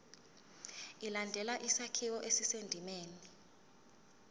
ilandele isakhiwo esisendimeni